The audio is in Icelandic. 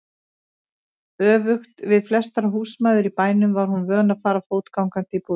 Öfugt við flestar húsmæður í bænum var hún vön að fara fótgangandi í búðina.